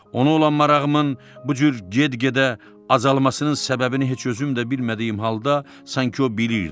Ona olan marağımın bu cür get-gedə azalmasının səbəbini heç özüm də bilmədiyim halda sanki o bilirdi.